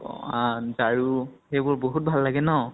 অ আ আৰু সেইবোৰ বহুত ভাল লাগে ন ?